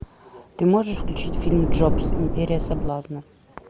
ты можешь включить фильм джобс империя соблазна